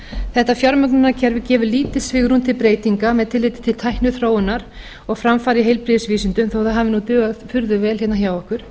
þetta fjármögnunarkerfi gefur lítið svigrúm til breytinga með tilliti til tækniþróunar og framfara í heilbrigðisvísindum þó að það hafi dugað furðu vel hérna hjá okkur